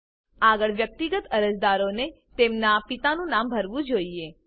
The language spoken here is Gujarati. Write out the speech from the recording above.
આગળ વ્યક્તિગત અરજદારોએ તેમનાં પિતાનું નામ ભરવું જોઈએ